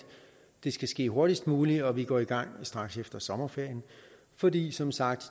det skal ske hurtigst muligt og vi går i gang straks efter sommerferien fordi det som sagt